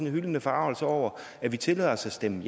en hylende forargelse over at vi tillader os at stemme